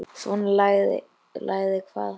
Svona lagað hvað?